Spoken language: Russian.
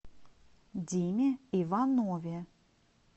диме иванове